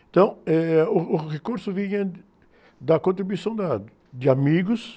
Então, eh, uh, o recurso vinha, da contribuição de amigos.